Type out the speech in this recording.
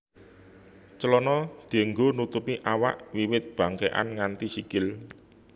Clana dianggo nutupi awak wiwit bangkékan nganti sikil